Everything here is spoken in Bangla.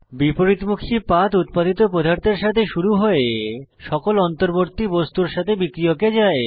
বিপরীতমুখী পাথ উত্পাদিত পদার্থের সাথে শুরু হয়ে সকল অন্তর্বর্তী বস্তুর সাথে বিক্রিয়কে যায়